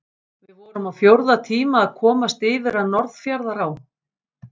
Við vorum á fjórða tíma að komast yfir að Norðfjarðará.